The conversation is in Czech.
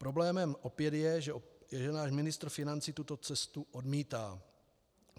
Problémem opět je, že náš ministr financí tuto cestu odmítá.